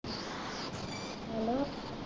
hello